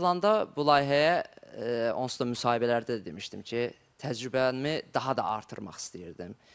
Qatılanda bu layihəyə onsuz da müsahibələrdə demişdim ki, təcrübəmi daha da artırmaq istəyirdim.